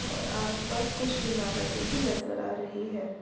और आस-पास कुछ इमारतें भी नजर आ रही है।